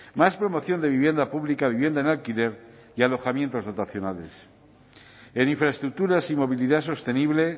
más promoción de vivienda pública vivienda en alquiler y alojamientos dotacionales en infraestructuras y movilidad sostenible